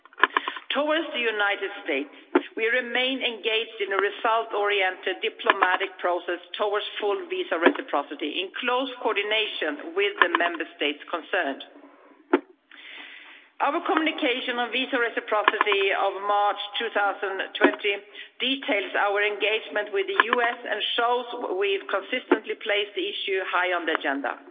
With the United States, we remain engaged in a result oriented diplomatic process towards full visa reciprocity, in close coordination with the Member States concerned. Our communication on visa reciprocity of March 2020 details our engagement with the United States and shows we've consistently placed the issue high on the agenda.